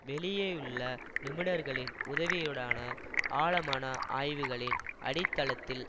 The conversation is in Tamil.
வெளியேயுள்ள நிபுணர்களின் உதவியுடனான ஆழமான ஆய்வுகளின் அடித்தளத்தில்